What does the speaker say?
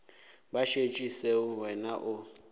ba šetše seo wena o